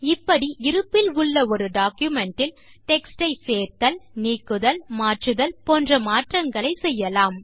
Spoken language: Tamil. இப்படி இருப்பில் உள்ள ஒரு டாக்குமென்ட் இல் டெக்ஸ்ட் ஐ சேர்த்தல் நீக்குதல் மாற்றுதல் போன்ற மாற்றங்களை செய்யலாம்